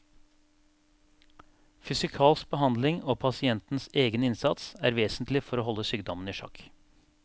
Fysikalsk behandling og pasientens egen innsats er vesentlig for å holde sykdommen i sjakk.